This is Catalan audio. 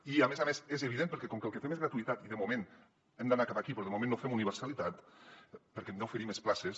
i a més a més és evident perquè com que el que fem és gratuïtat i de moment hem d’anar cap aquí però de moment no fem universalitat perquè hem d’oferir més places